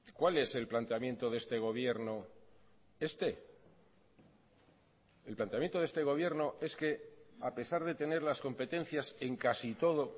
cuál es el planteamiento de este gobierno este el planteamiento de este gobierno es que a pesar de tener las competencias en casi todo